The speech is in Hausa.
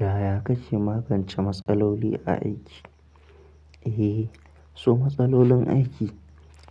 Yaya kake magance matsaloli a aiki? Eh, so matsalolin aiki